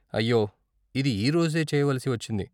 అయ్యో, ఇది ఈ రోజే చేయవలసి వచ్చింది.